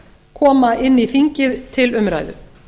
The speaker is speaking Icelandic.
koma inn í þingið til umræðu